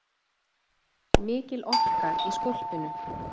Mikil orka í skólpinu